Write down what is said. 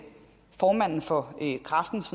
formanden for kræftens